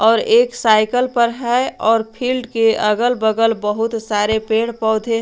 और एक साइकल पर है और फील्ड के अगल बगल बहुत सारे पेड़ पौधे।